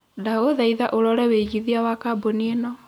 ndagũthaĩtha ũrore wĩigĩthĩa wa kambũni ĩno